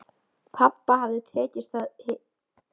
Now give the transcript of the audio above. Pabba hafði tekist hið ómögulega: að eignast sólina fyrir sig.